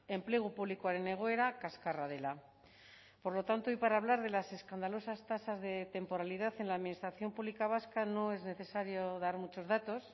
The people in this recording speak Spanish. enplegu publikoaren egoera kaskarra dela por lo tanto y para hablar de las escandalosas tasas de temporalidad en la administración pública vasca no es necesario dar muchos datos